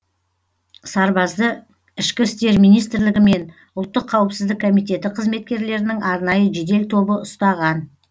сарбазды ішкі істер министрлігі мен ұлттық қауіпсіздік комитетінің қызметкерлерінің арнайы жедел тобы ұстаған